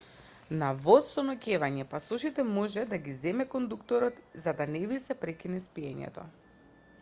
на воз со ноќевање пасошите може да ги земе кондуктерот за да не ви се прекине спиењето